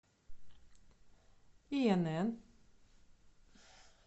инн